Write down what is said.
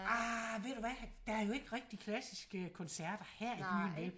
Arh ved du hvad der er jo ikke rigtig klassiske koncerter her i byen vel